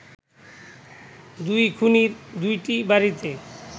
দুই খুনির দুটি বাড়িতে